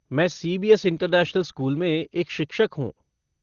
मैं CBS. International school में एक शिक्षक हूँ।